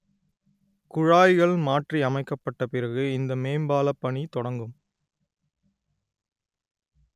குழாய்கள் மாற்றி அமைக்கப்பட்ட பிறகு இந்த மேம்பால பணி தொடங்கும்